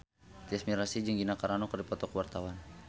Tyas Mirasih jeung Gina Carano keur dipoto ku wartawan